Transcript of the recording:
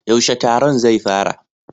Yaushe taron zai fara?